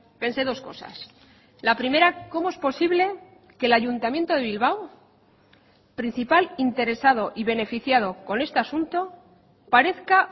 pensé dos cosas la primera cómo es posible que el ayuntamiento de bilbao principal interesado y beneficiado con este asunto parezca